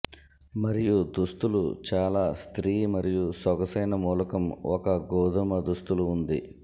మరియు దుస్తులు చాలా స్త్రీ మరియు సొగసైన మూలకం ఒక గోధుమ దుస్తులు ఉంది